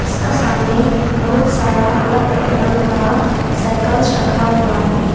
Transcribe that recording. इसका सामने बहुत सारा अलग अलग रंग का साइकिल्स रखा हुआ है।